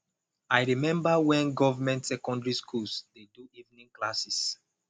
i remember wen government secondary schools dey do evening classes